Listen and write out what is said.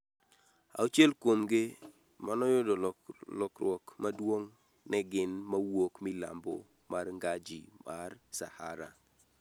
auchiel kuom gi manoyudo lokruok maduong' ne gin mawuok milambo mar ngaji ma Sahara